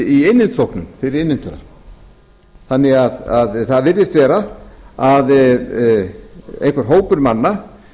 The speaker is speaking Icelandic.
í innheimtuþóknun fyrir innheimtuna þannig að það virðist vera að einhver hópur manna